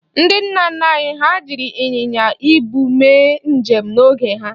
Ndị nna nna anyị ha jiri ịnyịnya ibu mee njem n'oge ha.